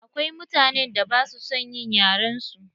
Akwai mutanen da ba sua son yin yaren su.